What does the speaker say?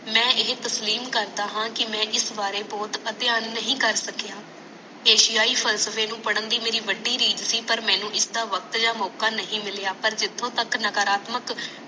ਮੈਂ ਇਹ ਤਸਲੀਨ ਕਰਦਾ ਹਾਂ ਕਿ ਮੈਂ ਇਸ ਬਾਰੇ ਬਹੁਤ ਅਧਿਅਨ ਨਹੀਂ ਕਰ ਸਕਿਆ ਇਸ਼ਾਆਇ ਫਲਸਫੇ ਨੂੰ ਪੜਨ ਦੀ ਮੇਰੀ ਬੜੀ ਨਿਯਤ ਸੀ ਪਰ ਮੈਨੂੰ ਇਸਦਾ ਵਕਤ ਯਾ ਮੌਕਾ ਨਹੀਂ ਮਿਲਿਆ ਪਰ ਜਿਥੋਂ ਤਕ ਨਾਕਰਾਤਮਕ